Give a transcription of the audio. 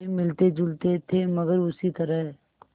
वे मिलतेजुलते थे मगर उसी तरह